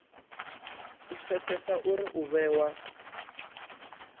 u pfesesa uri u vhewa